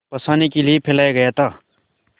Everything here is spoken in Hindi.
फँसाने के लिए फैलाया गया था